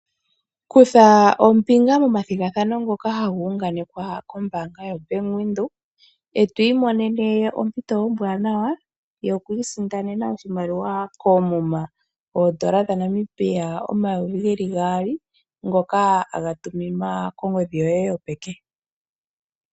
Kutha ombinga moma thigathano ngoka haga unganekwa ko bank windhoek etwi imonene ompito ombwanawa yo kwii sindanena oshimaliwa kuumuma oodola dha Namibia omayovi geli gaali ngoka haga tuminwa kongidhi yoye yopeke.